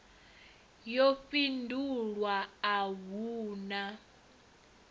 yo fhindulwa a hu na